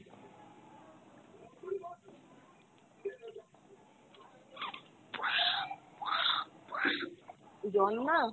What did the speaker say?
জ্বর না,